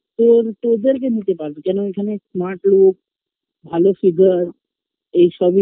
তোর তোদের কে নিতে পারবে কেনো ওখানে Smart লোক ভালো figure এইসবই